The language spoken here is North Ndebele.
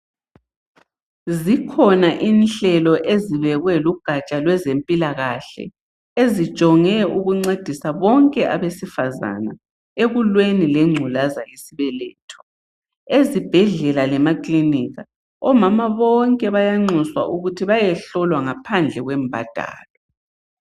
Zikhona inhlelo ezibekwe lugatsha lwezempilakahle ezijonge ukuncedisa bonke abesifazana ekulweni lemvukuzane yesibeletho. Ezibhedlela lemakilinika omama bonke bayanxuswa ukuthi bayehlolwa ngaphandle kwembadalo.